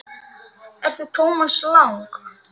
Ert þú Thomas Lang?